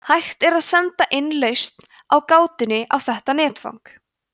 hægt er að senda inn lausn á gátunni á þetta netfang